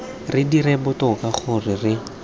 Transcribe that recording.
re dire botoka gore re